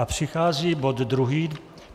A přichází bod druhý: